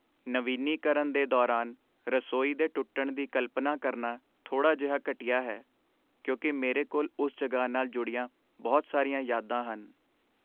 ਨਵੀਨੀਕਰਨ ਦੇ ਦੌਰਾਨ ਰਸੋਈ ਦੇ ਟੁੱਟਣ ਦੀ ਕਲਪਨਾ ਕਰਨਾ ਥੋੜਾ ਜਿਹਾ ਘਟੀਆ ਹੈ, ਕਿਉਂਕਿ ਮੇਰੇ ਕੋਲ ਉਸ ਜਗ੍ਹਾ ਨਾਲ ਜੁੜੀਆਂ ਬਹੁਤ ਸਾਰੀਆਂ ਯਾਦਾਂ ਹਨ।